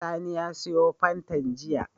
Sani ya siyo fantan jiya